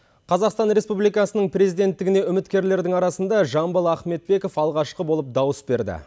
қазақстан республикасының президенттігіне үміткерлердің арасында жамбыл ахметбеков алғашқы болып дауыс берді